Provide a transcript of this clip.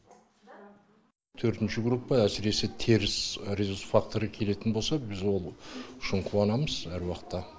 төртінші группа әсіресе теріс резус факторы келетін болса біз ол үшін қуанамыз әр уақытта